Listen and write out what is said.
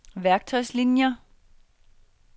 værktøjslinier